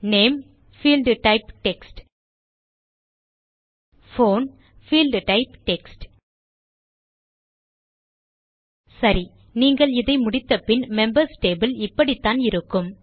name பீல்ட்டைப் text phone பீல்ட்டைப் text சரி நீங்கள் இதை முடித்தபின் மெம்பர்ஸ் டேபிள் இப்படித்தான் இருக்கும்